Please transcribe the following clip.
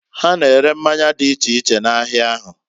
Ha na-ere mmanya di iche iche n'ahia ahu.